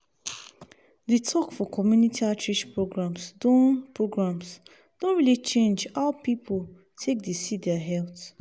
the talk for community outreach programs don programs don really change how people take dey see their health.